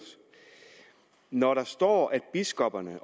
når der står at biskopperne